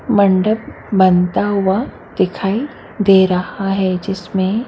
मंडप बनता हुआ दिखाई दे रहा है जिसमे--